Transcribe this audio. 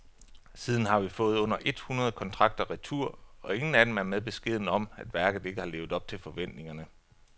Siden har vi fået under et hundrede kontrakter retur, og ingen af dem er med beskeden om, at værket ikke har levet op til forventningerne.